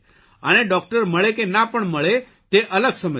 અને ડોકટર મળે કે ના પણ મળે તે અલગ સમસ્યા